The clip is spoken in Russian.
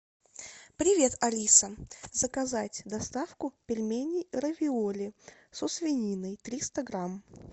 привет алиса заказать доставку пельменей равиоли со свининой триста грамм